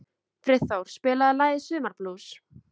Friðþór, spilaðu lagið „Sumarblús“.